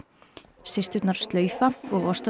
systurnar slaufa og